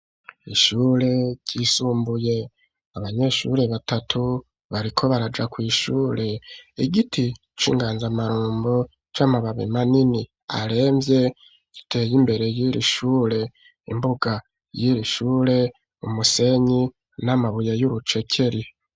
iIhure ryisumbuye abanyeshuri batatu bariko baraja kw'shure igiti c'inganzamarombo c'amababi manini aremvye giteye imbere y'irishure imbuga y'irishure umusenyi n'amabuye y'urucekeri.